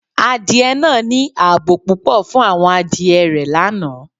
Adié naa ni àábò pupọ̀ fun awọn adié rẹ̀ lánà